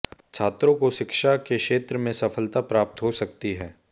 छात्रों को शिक्षा के क्षेत्र में सफलता प्राप्त हो सकती है